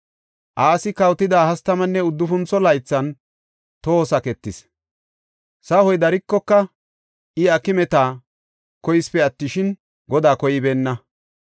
Asi kawotida hastamanne uddufuntho laythan toho saketis; sahoy darikoka, I aakimeta koyisipe attishin, Godaa koybeenna.